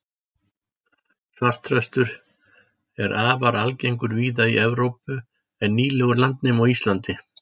svartþröstur er afar algengur víða í evrópu en nýlegur landnemi á íslandi